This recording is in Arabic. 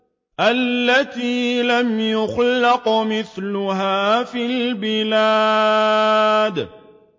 الَّتِي لَمْ يُخْلَقْ مِثْلُهَا فِي الْبِلَادِ